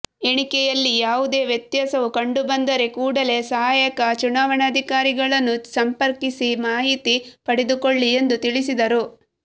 ಎಣಿಕೆಯಲ್ಲಿ ಯಾವುದೇ ವ್ಯತ್ಯಾಸ ಕಂಡುಬಂದರೆ ಕೂಡಲೇ ಸಹಾಯಕ ಚುನಾವಣಾಧಿಕಾರಿಗಳನ್ನು ಸಂಪಕರ್ಿಸಿ ಮಾಹಿತಿ ಪಡೆದುಕೊಳ್ಳಿ ಎಂದು ತಿಳಿಸಿದರು